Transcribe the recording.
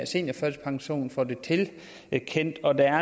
seniorførtidspension får den tilkendt og at der